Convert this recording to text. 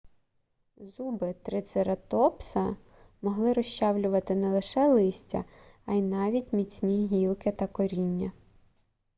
зуби трицератопса могли розчавлювати не лише листя а й навіть міцні гілки та коріння